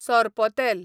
sorpotel